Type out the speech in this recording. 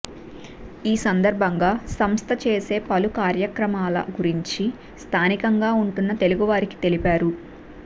ఈ సందర్భంగా సంస్థ చేసే పలు కార్యక్రమాల గురించి స్థానికంగా ఉంటున్న తెలుగు వారికి తెలిపారు